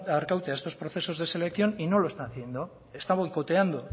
arkaute a estos procesos de selección y no lo están haciendo está boicoteando